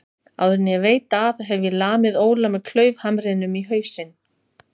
Áður en ég veit af hef ég lamið Óla með klaufhamrinum í hausinn.